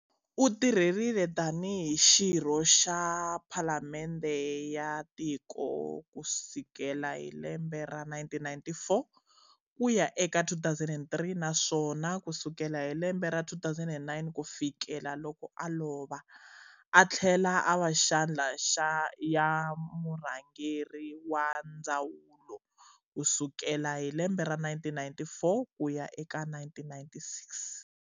Utirhelile tanihi xirho xa phalamendhe ya tiko kusikela hi lembe ra 1994 kuya eka 2003, naswona kusukela hi lembe ra 2009 kufikela loko a lova, athlela ava xandla ya murhangeri wa ndawulo kusukela hi lembe ra 1994 kuya eka 1996.